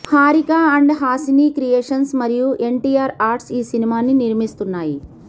Harika and Haasini creations మరియు NTR arts ఈ సినిమాని నిర్మిస్తున్నాయి